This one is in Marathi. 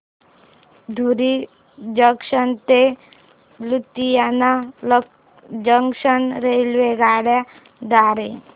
धुरी जंक्शन ते लुधियाना जंक्शन रेल्वेगाड्यां द्वारे